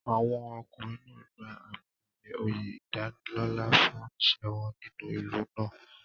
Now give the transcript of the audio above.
Àwọn ọkùnrin náà gba àmì-ẹ̀yẹ oyè ìdánilọ́là fún iṣẹ́ wọn nínú ìlú náà.